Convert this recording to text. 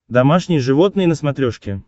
домашние животные на смотрешке